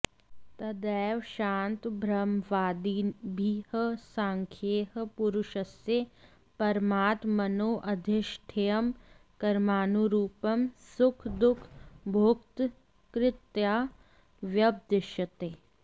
तदेव शान्तब्रह्मवादिभिः सांख्यैः पुरुषस्य परमात्मनोऽधिष्ठेयं कर्मानुरूपं सुखदुःखभोक्तृतया व्यपदिश्यते